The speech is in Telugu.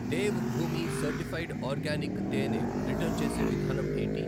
దేవ్ భూమి సర్టిఫైడ్ ఆర్గానిక్ తేనె రిటర్న్ చేసే విధానం ఏంటి?